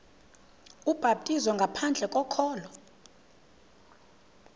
ubhaptizo ngaphandle kokholo